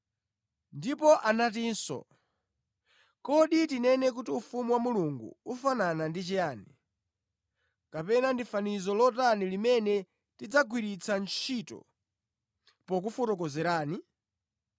Ndipo anatinso, “Kodi tinene kuti ufumu wa Mulungu ufanana ndi chiyani, kapena ndi fanizo lotani limene tidzagwiritsa ntchito pakuwufotokozera?